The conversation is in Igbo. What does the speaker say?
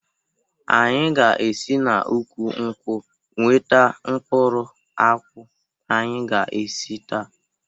Anyị ga esi n'úkwù nkwụ nweta mkpụrụ akwụ anyị ga esi taa